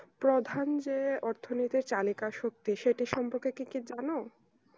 প্রধান যে অর্থ নিতো চালিকা শক্তি সেটার সম্পর্কে কি জানো